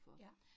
Ja